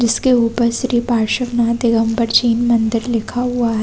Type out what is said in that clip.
जिसके ऊपर श्री पाश्र्व नाथ दिगम्बर छिण मंदिर लिखा हुआ है।